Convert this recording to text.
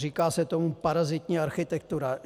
Říká se tomu parazitní architektura.